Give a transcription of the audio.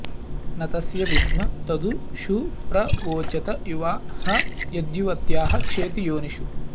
न तस्य॑ विद्म॒ तदु॒ षु प्र वो॑चत॒ युवा॑ ह॒ यद्यु॑व॒त्याः क्षेति॒ योनि॑षु